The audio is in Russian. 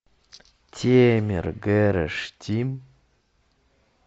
темер гэраш тим